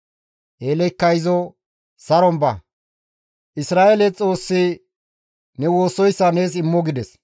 Eeleykka izo, «Saron ba, Isra7eele Xoossi ne woossoyssa nees immo» gides.